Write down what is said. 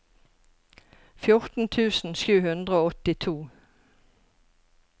fjorten tusen sju hundre og åttito